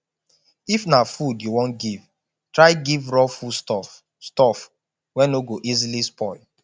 if na food you won give try give raw foods stuff stuff wey no go easily spoil